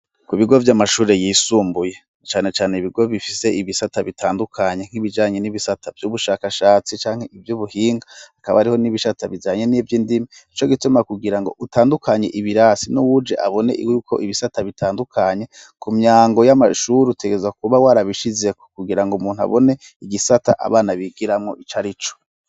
Ku bigo vy'amashuri yisumbuye canecane ibigo bifise ibisata bitandukanye nk'ibijanye n'ibisata vy'ubushakashatsi canke ivyo ubuhinga akaba ariho n'ibishata bizanye n'ivyo indima co gituma kugira ngo utandukanye ibirasi n'uwuje abone iwe yuko ibisata bitandukanye ku myango y'amashuri utegeza kuba warabishizeku kugira ngo umuntu abone igisata abana bigiramwo ico ari co.